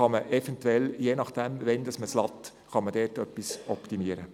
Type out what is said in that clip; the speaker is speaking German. Dann könnte man je nach Zeitpunkt des Aufladens etwas optimieren.